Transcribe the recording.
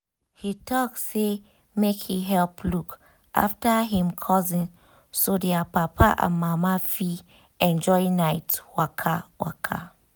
he talk say make he help look after him cousin so their papa and mama fit enjoy night waka. waka.